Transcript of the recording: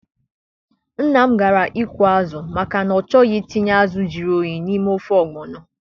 Nnam gara ịkụ azụ maka na ọ choghi itinye azụ juru oyi n'ime ofe ọgbọno